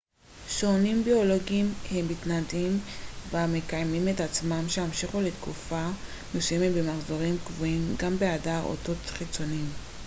שעונים ביולוגיים הם מתנדים המקיימים את עצמם שימשיכו לתקופה מסוימת במחזורים קבועים גם בהיעדר אותות חיצוניים